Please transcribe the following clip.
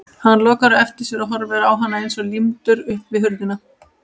Hann lokar á eftir sér og horfir á hana eins og límdur upp við hurðina.